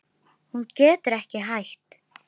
Hún getur ekki hætt.